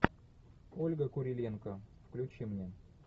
ольга куриленко включи мне